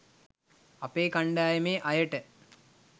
අපේ කණ්ඩායමේ අයට